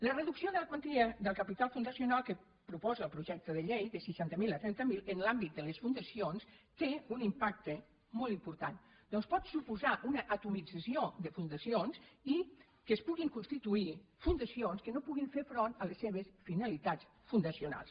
la reducció de la quantia del capital fundacional que proposa el projecte de llei de seixanta mil a trenta mil en l’àmbit de les fundacions té un impacte molt important ja que pot suposar una atomització de fun·dacions i que es puguin constituir fundacions que no puguin fer front a les seves finalitats fundacionals